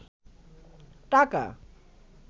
টাকা